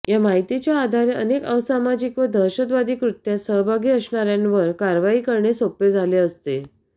या माहितीच्या आधारे अनेक असामाजिक व दहशतवादी कृत्यात सहभागी असणाऱ्यांवर कारवाई करणे सोपे झाले असते